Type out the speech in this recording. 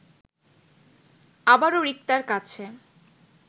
আবারো রিক্তার কাছে